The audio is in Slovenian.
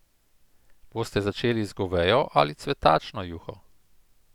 Boste začeli z govejo ali cvetačno juho?